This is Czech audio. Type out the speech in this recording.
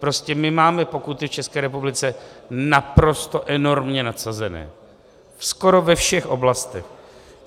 Prostě my máme pokuty v České republice naprosto enormně nadsazené skoro ve všech oblastech.